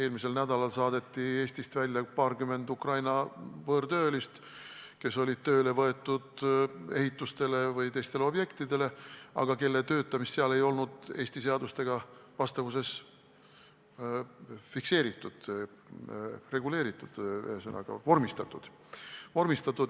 Eelmisel nädalal saadeti Eestist välja paarkümmend Ukraina võõrtöölist, kes olid tööle võetud mõnele ehitusele või muule objektile, aga kelle töötamist ei olnud vastavalt Eesti seadustele fikseeritud, reguleeritud – ühesõnaga, vormistatud.